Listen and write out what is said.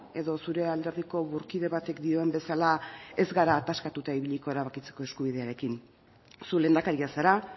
edo zure alderdiko burkide batek dioen bezala ez gara ataskatuta ibiliko erabakitzeko eskubidearekin zu lehendakaria zara